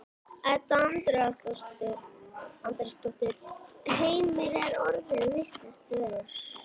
Edda Andrésdóttir: Heimir er orðið vitlaust veður?